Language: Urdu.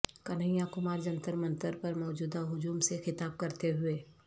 کنہیا کمار جنتر منتر پر موجود ہجوم سے خطاب کرتے ہوئے